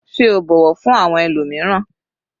Sé o bọ̀wọ̀ fún àwọn ẹlòmíràn?